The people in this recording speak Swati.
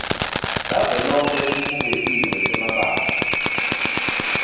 savelonkhe lesibuketiwe semabanga